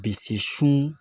Bi se so